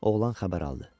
Oğlan xəbər aldı.